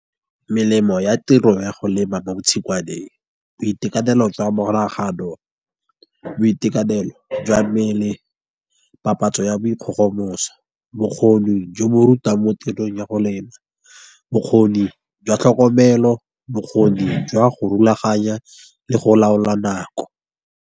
Melemo ya tiro ya go lema mo tshingwaneng boitekanelo jwa monagano, boitekanelo jwa mmele, papatso ya boikgogomoso, bokgoni jo bo rutang mo tirong ya go lena, bokgoni jwa tlhokomelo, bokgoni jwa go rulaganya le go laola nako.